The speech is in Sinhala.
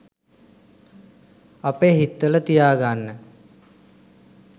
අපේ හිත්වල තියාගන්න.